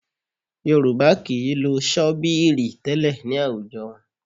Yorùbá kì í lo ṣọ́bíìrì tẹ́lẹ̀ ní àwùjọ wọn